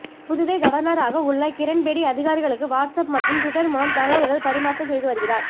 புதுவை கவர்னராக உள்ள கிரண்பேடி அதிகாரிகளுக்கு வாட்ஸ்ஆப் மற்றும் ட்விட்டர் மூலம் தகவல்கள் பரிமாற்றம் செய்து வருகிறார்